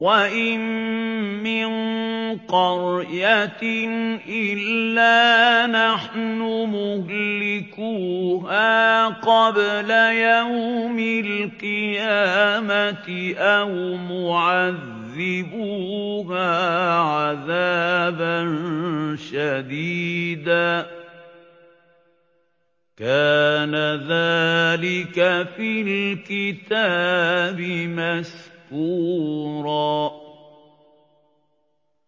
وَإِن مِّن قَرْيَةٍ إِلَّا نَحْنُ مُهْلِكُوهَا قَبْلَ يَوْمِ الْقِيَامَةِ أَوْ مُعَذِّبُوهَا عَذَابًا شَدِيدًا ۚ كَانَ ذَٰلِكَ فِي الْكِتَابِ مَسْطُورًا